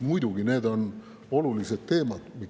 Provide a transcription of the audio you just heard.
Muidugi on need olulised teemad.